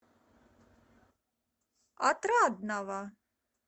отрадного